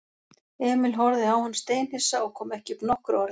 Emil horfði á hann steinhissa og kom ekki upp nokkru orði.